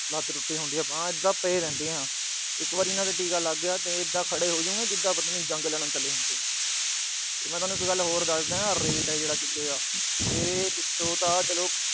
ਲੱਤ ਟੁੱਟੀ ਹੁੰਦੀ ਆ ਬਾਂਹ, ਐਦਾ ਬਸ ਪਏ ਰਹਿੰਦੇ ਆ। ਇੱਕ ਵਾਰ ਇਹਨਾਂ ਦੇ ਟੀਕਾ ਲਗ ਗਿਆ, ਤਾਂ ਇਹ ਇਦਾਂ ਖੜੇ ਹੋ ਜਾਂਦੇ ਆ ਕਿ ਜਿਦਾਂ ਪਤਾ ਨੀ ਜੰਗ ਲੜਨ ਚਲੇ ਹੁੰਦੇ ਆ। ਤੇ ਮੈਂ ਤੋਨੂੰ ਇੱਕ ਗੱਲ ਹੋਰ ਦੱਸਦਾ ਜਿਹੜਾ rate ਆ ਚਿੱਟੇ ਦਾ। ਇਹ ਪਿੱਛੋਂ ਤਾਂ ਚਲੋ